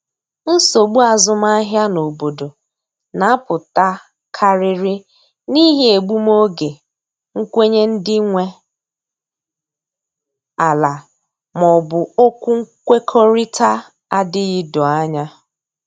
Nsogbu azụmahịa n’obodo na apụta karịrị n'ihi egbum oge nkwenye ndị nwe ala ma ọ bụ okwu nkwekọrịta adịghị doo anya